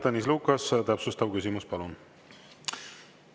Tõnis Lukas, täpsustav küsimus, palun!